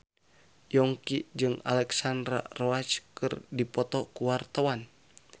Yongki jeung Alexandra Roach keur dipoto ku wartawan